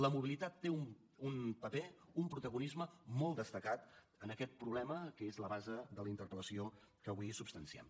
la mobilitat té un paper un protagonisme molt destacat en aquest problema que és la base de la interpel·lació que avui substanciem